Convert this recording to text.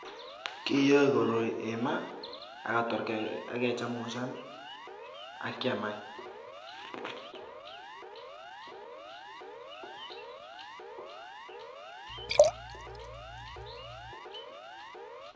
Kiyoe koroi eng maa ak ketor kechemshan ak kiaam any.